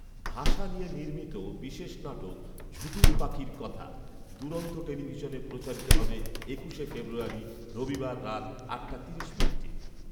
ভাষা নিয়ে নির্মিত বিশেষ নাটক ‘ঝুটুম পাখির কথা’ দুরন্ত টেলিভিশনে প্রচারিত হবে একুশে ফেব্রুয়ারি, রবিবার, রাত আটটা তিরিশ মিনিটে